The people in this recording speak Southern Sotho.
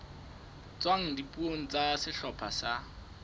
tswang dipuong tsa sehlopha sa